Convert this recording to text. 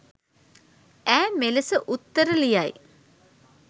ඈ මෙලෙස උත්තර ලියයි.